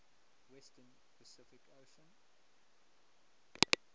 western pacific ocean